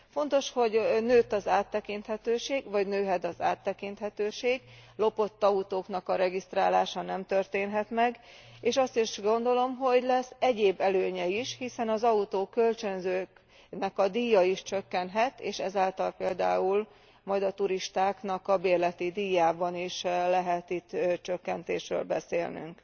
Fontos, hogy nőtt az áttekinthetőség, vagy nőhet az áttekinthetőség, lopott autóknak a regisztrálása nem történhet meg, és azt is gondolom, hogy lesz egyéb előnye is, hiszen az autókölcsönzőknek a díja is csökkenhet, és ezáltal például majd a turistáknak a bérleti díjában is lehet itt csökkentésről beszélnünk.